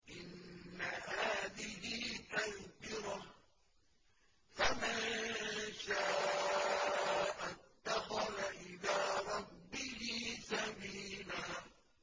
إِنَّ هَٰذِهِ تَذْكِرَةٌ ۖ فَمَن شَاءَ اتَّخَذَ إِلَىٰ رَبِّهِ سَبِيلًا